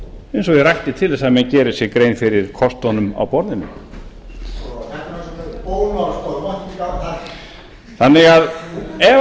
eins og ég rakti til þess að menn geri sér grein fyrir kostunum á borðinu ef